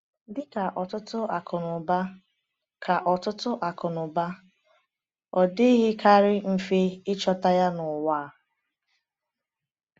Dị ka ọtụtụ akụnụba, ka ọtụtụ akụnụba, ọ dịghịkarị mfe ịchọta ya n’ụwa a.